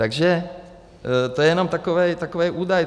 Takže to je jenom takový údaj.